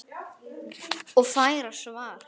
Og fær svarið